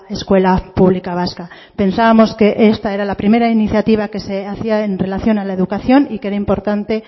escuela pública vasca pensábamos que esta era la primera iniciativa que se hacía en relación a la educación y que era importante